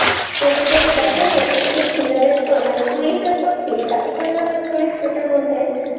ওটা যদি দেখেন ওটা হচ্ছে thriller এর পর মানে twist এর পর twist এত পরিমানে twist ওটার মধ্যে